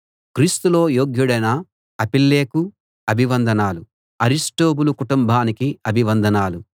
క్రీస్తులో యోగ్యుడైన అపెల్లెకు అభివందనాలు అరిస్టొబూలు కుటుంబానికి అభివందనాలు